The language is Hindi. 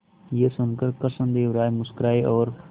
यह सुनकर कृष्णदेव राय मुस्कुराए और